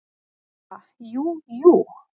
"""Ha, jú, jú"""